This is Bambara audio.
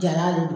Jala de don